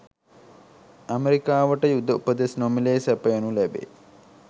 ඇමරිකාවට යුධ උපදෙස් නොමිලේ සපයනු ලැබේ